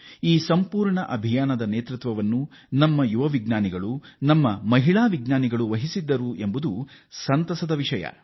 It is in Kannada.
ಈ ಸಂಪೂರ್ಣ ಉಡಾವಣೆಯ ನೇತೃತ್ವವನ್ನು ನಮ್ಮ ಯುವ ವಿಜ್ಞಾನಿಗಳು ಮಾಡಿದ್ದಾರೆ ಇದರಲ್ಲಿ ನಮ್ಮ ಮಹಿಳಾ ವಿಜ್ಞಾನಿಗಳ ಪಾತ್ರವೂ ಸಂತಸದ ವಿಷಯ